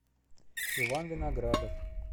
иван виноградов